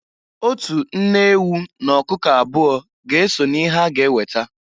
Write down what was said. Otu nne ewu n'ọkụkụ abụọ ga-eso n'ihe a ga-eweta.